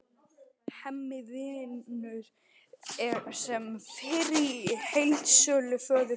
Hemmi vinnur sem fyrr í heildsölu föður síns.